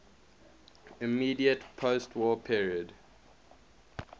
immediate postwar period